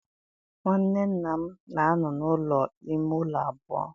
Nwanne nna m na-anọ n'ụlọ ime ụlọ abụọ.